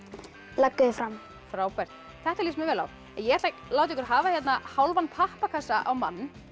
leggur þig fram frábært þetta líst mér vel á ég ætla að láta ykkur hafa hálfan pappakassa á mann